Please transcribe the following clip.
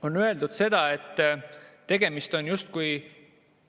On öeldud seda, et tegemist on justkui ...